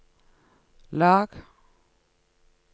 lag